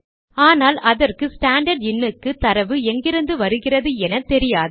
ஆனால் அதற்கு ஸ்டாண்டர்ட் இன் க்கு தரவு எங்கிருந்து வருகிறதென தெரியாது